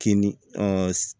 Kinni